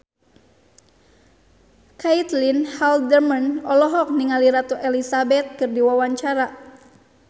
Caitlin Halderman olohok ningali Ratu Elizabeth keur diwawancara